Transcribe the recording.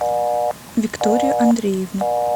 викторию андреевну